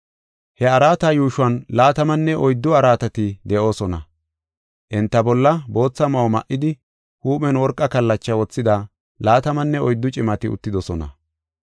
He araata yuushuwan laatamanne oyddu araatati de7oosona; enta bolla bootha ma7o ma7idi, huuphen worqa kallachaa wothida laatamanne oyddu cimati uttidosona.